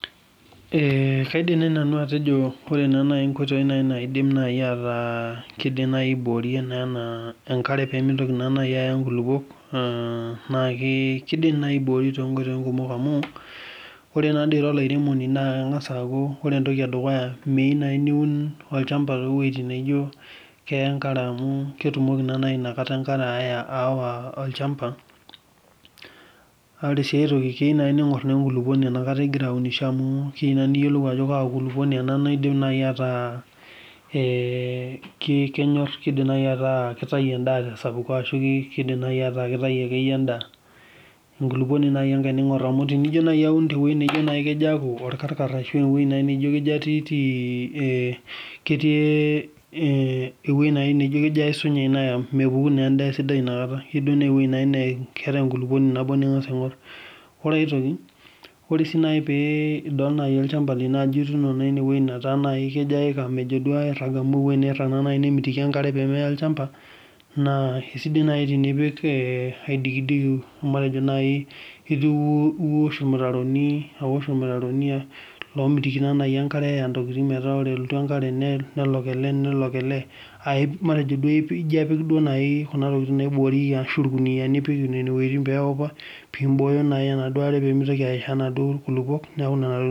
Kaidim naaji nanu atejo ore nkoitoi naata kidimie aiborie enkare pimitoki naaji Aya nkulupuok naa kidimi naaji aiboi too nkoitoi kumok amu ore naadoi era olairemoni naa ore entoki eduya naa miyieu naaji niun olchamba tewueji naijio keya enkare amu ketumoki naa naaji enkare awa naa ore sii aitoki ning'or enkulupuoni ena kata egira aunisho piyiolou Ajo Kaa kulupuona ena naidim ataa kitau enda tee sapuko arashu kidim ata akeyie kitau endaa enkulupuoni akeyie enkae ning'or amu tenijo naaji aun tewueji naijio aku orkarkar arashu tewueji naijio kejo aisunyai mepuku naaji endaa esidai enakataa keyieu naaji naa ewueji nebo naa cs nkulukuoni eng'as aing'or ore aitoki ore sii naaji peidol olchamba lino Ajo ene wueji naijio keyika mejo naaji airag amu ewueji naa naaji nirag nemitiki enkare eya olchamba naa kidim naaji nipik aidikidik naaji matejo niosh irmutaroni lomitiki naaji enkare eya ntokitin metaa ore elotu enkare nelok ele nelok ele matejo naaji apik Kuna tokitin naiboriekie matejo apik irkuniani nenen peupapiboho enaduo are pemitiki ayishaa naaduo kulupuok